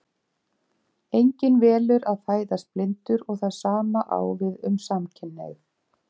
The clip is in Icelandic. Enginn velur að fæðast blindur og það sama á við um samkynhneigð.